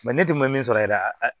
ne dun ma min sɔrɔ yɛrɛ